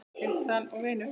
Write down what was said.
Heilsan og vinir.